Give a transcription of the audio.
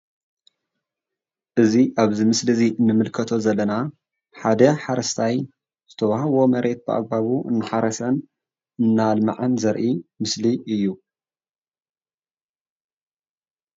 እዚ ኣብዚ ምስሊ እዚ እንምልከቶ ዘለና ሓደ ሓረስታይ ዝተወሃቦ መሬት ብኣግበባቡ እናሓረሰ እናኣልመዐን ዘርኢ ምስሊ እዩ፡፡